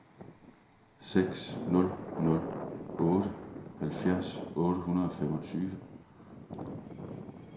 seks nul nul otte halvfjerds otte hundrede og femogtyve